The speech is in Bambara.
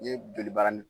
N'i ye joli baara